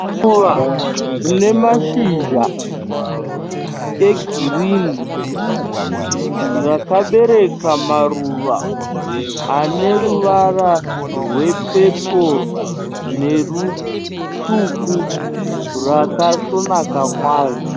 Ruva rine mashizha egirini. Rakabereka maruva ane ruvara rwepepuru nerutsvuku rakasvonaka kwazvo.